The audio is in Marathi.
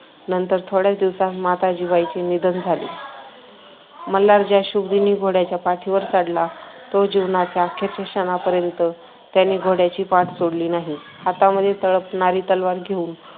नंतर थोड्याच दिवसात माता जिवाईचे निधन झाली. मल्हार ज्या शुभदिनी घोड्याच्या पाठीवर चढला तो जीवनाच्या अखेरच्या क्षणापर्यंत त्याने घोड्याची पाठ सोडली नाही. हातामध्ये तळपणारी तलवार घेऊन